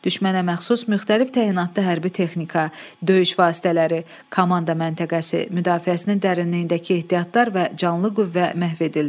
Düşmənə məxsus müxtəlif təyinatlı hərbi texnika, döyüş vasitələri, komanda məntəqəsi, müdafiəsinin dərinliyindəki ehtiyatlar və canlı qüvvə məhv edildi.